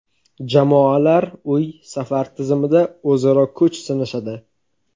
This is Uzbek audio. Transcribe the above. Jamoalar uy-safar tizimida o‘zaro kuch sinashadi.